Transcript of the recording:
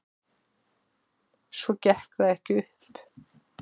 Svo gekk það ekki upp.